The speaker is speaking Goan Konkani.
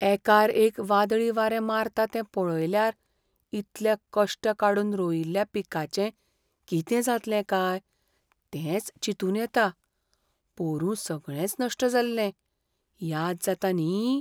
एकार एक वादळी वारें मारता तें पळयल्यार इतले कश्ट काडून रोयिल्ल्या पिकाचें कितें जातलें काय तेंच चिंतून येता. पोरूं सगळेंच नश्ट जाल्लें, याद जाता न्ही?